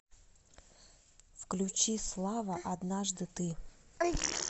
включи слава однажды ты